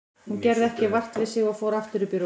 Hún gerði ekki vart við sig og fór aftur upp í rúm.